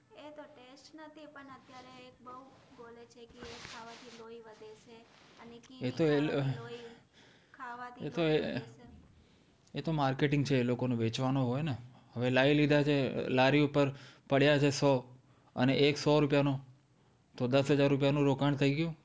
એતો એ એતો એ એતો marketing છે એ લોકોનું વેચવાનું હોય છે ને હવે લઇ લીધા છે લર્તી ઉપર પડ્યાં છે સો અને એક સો રૂપિયાનું તો દસ હજાર રૂપિયાનું રોકાણ થઇ ગયું